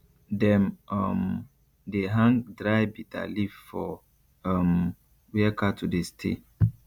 dem um dey hang dry bitter leaf for um where cattle dey stay